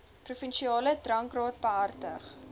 provinsiale drankraad behartig